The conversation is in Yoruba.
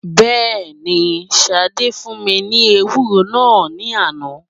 Bẹ́ẹ̀ ni, Ṣadé fún mi ni ewúro náà ní àná.